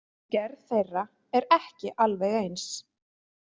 Gerð þeirra er ekki alveg eins.